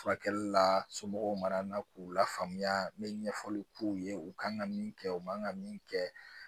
Furakɛli la somɔgɔw mana na k'u la faamuya n me ɲɛfɔli k'u ye u ka kan ka min kɛ u man ka min kɛ